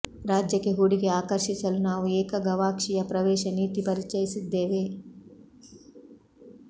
ರಾಜ್ಯಕ್ಕೆ ಹೂಡಿಕೆ ಆಕರ್ಷಿಸಲು ನಾವು ಏಕ ಗವಾಕ್ಷಿಯ ಪ್ರವೇಶ ನೀತಿ ಪರಿಚಯಿಸಿದ್ದೇವೆ